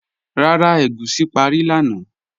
Rárá, ègúsi párí lánà